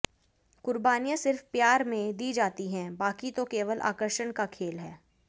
कुर्बानियां सिर्फ प्यार में दी जाती हैं बाकि तो केवल आकर्षण का खेल है